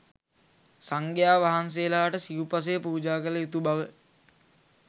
සංඝයා වහන්සේලාට සිව්පසය පූජා කළ යුතු බව.